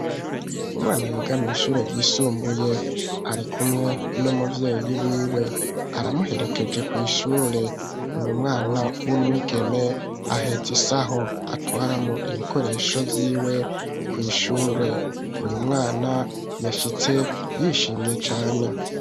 Umwana yiga mw' ishure yisumbuye ari kumwe n'umuvyeyi wiwe aramuherekeje ku ishure uyu mwana w'umwigeme ahetse isaho atwara mw'ibikoresho vyiwe kw'ishure uyu mwana yashitse yishimye cane.